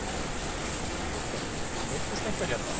Kristján: Meiddist einhver hérna?